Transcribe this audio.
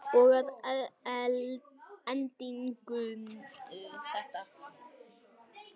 Og að endingu þetta.